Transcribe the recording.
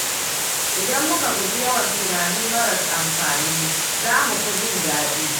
Idan muka guji yawan tunani maras amfani, za mu fi jin daɗi.